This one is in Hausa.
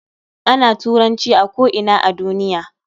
Ana Turanci a ko ina a duniya